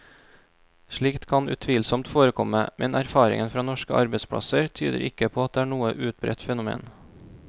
Slikt kan utvilsomt forekomme, men erfaringen fra norske arbeidsplasser tyder ikke på at det er noe utbredt fenomen.